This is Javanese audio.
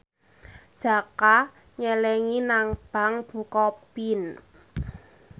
Jaka nyelengi nang bank bukopin